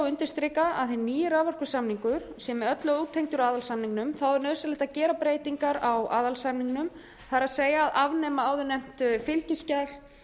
undirstrika að hinn nýi raforkusamningur sem er með öllu ótengdur aðalsamningnum það er að afnema áðurnefnt fylgiskjal